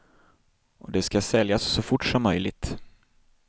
Och det ska säljas så fort som möjligt.